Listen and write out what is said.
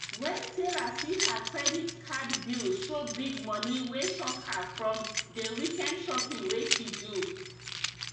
wen sarah see her credit card bill show big money wey shock her from dey weekend shopping wey she do